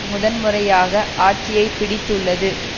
முதன்முறையாக ஆட்சியைப்பிடித்துள்ளது